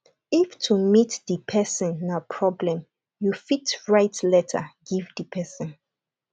if to meet di person na problem you fit write letter give di person